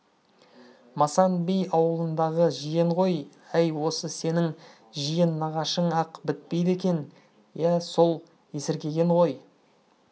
масан би ауылындағы жиен ғой әй осы сенің жиен нағашың-ақ бітпейді екен иә сол есіркеген ғой